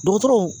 Dɔgɔtɔrɔw